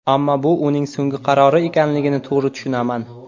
Ammo bu uning so‘nggi qarori ekanligini to‘g‘ri tushunaman.